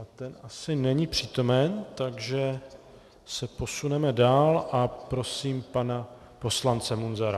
A ten asi není přítomen, takže se posuneme dál a prosím pana poslance Munzara.